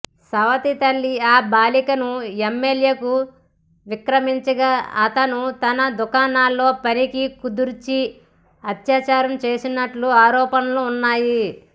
సవతి తల్లి ఆ బాలికను ఎమ్మెల్యేకు విక్రయించగా అతను తన దుకాణంలో పనికి కుదిర్చి అత్యాచారం చేసినట్లు ఆరోపణలున్నాయి